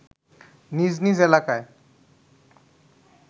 নিজ নিজ এলাকায়